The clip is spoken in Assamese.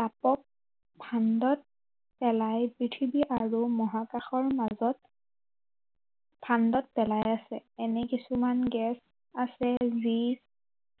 তাপক ফাণ্ডত পেলাই পৃথিৱী আৰু মহাকাশৰ মাজত ফাণ্ডত পেলাই আছে। এনে কিছুমান গেছ আছে যি,